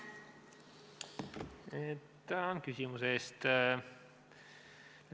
Tänan küsimuse eest!